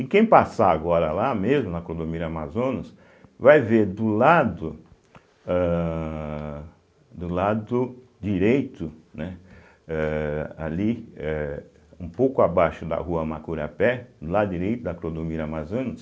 E quem passar agora lá, mesmo na Clodomiro Amazonas, vai ver do lado âhh do lado direito, né, eh ali, eh um pouco abaixo da rua Macurapé, do lado direito da Clodomiro Amazonas,